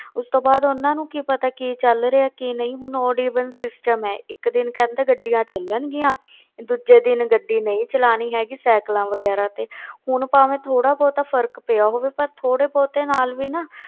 ਉਸ ਤੋਂ ਬਾਅਦ ਉਹਨਾਂ ਨੂੰ ਕੀ ਪਤਾ ਕੀ ਚੱਲ ਰਿਹਾ ਕੀ ਨਹੀਂ, ਹੁਣ odd even system ਹੈ ਇੱਕ ਦਿਨ ਕਹਿੰਦੇ ਗੱਡੀਆਂ ਚੱਲਣਗੀਆਂ ਦੂਜੇ ਦਿਨ ਗੱਡੀ ਨਹੀਂ ਚਲਾਉਣੀ ਹੈਗੀ ਸਾਇਕਲਾਂ ਵਗ਼ੈਰਾ ਤੇ ਹੁਣ ਭਾਵੇਂ ਥੋੜ੍ਹਾ ਬਹੁਤਾ ਫ਼ਰਕ ਪਿਆ ਹੋਵੇ, ਪਰ ਥੋੜ੍ਹੇ ਬਹੁਤੇ ਨਾਲ ਵੀ ਨਾ